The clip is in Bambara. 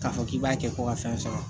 K'a fɔ k'i b'a kɛ ko ka fɛn sɔrɔ